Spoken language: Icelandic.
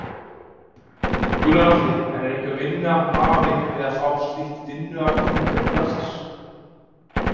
Gunnar Atli: En er einhver vinna hafin við að fá slíkt vinnuafl hingað til landsins?